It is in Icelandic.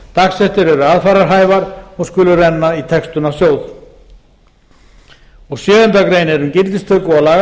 dagsektir eru aðfararhæfar og skulu renna til textunarsjóðs sjöunda grein er um gildistöku og